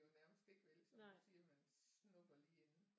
Jo nærmest ikke vel som du siger man snupper lige enden